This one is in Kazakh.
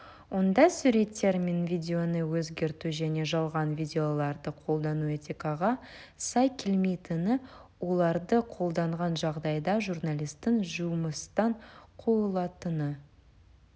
онда суреттер мен видеоны өзгерту және жалған видеоларды қолдану этикаға сай келмейтіні оларды қолданған жағдайда журналистің жұмыстан қуылатыны